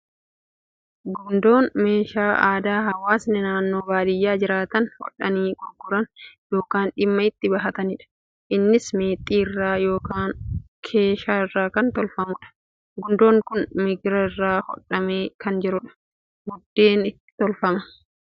Gundoon meeshaa aadaa hawwaasni naannoo baadiyaa jiraatan hodhanii gurguran yookiin dhimma itti bahatanidha. Innis meexxii irraa yookiin keeshaa irraa kan tolfamudha. Gundoon kun migira irraa hodhamee kan jirudha. Biddeen itti tolfama.